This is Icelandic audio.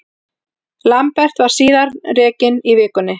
Lambert var síðan rekinn í vikunni.